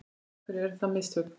Af hverju eru það mistök?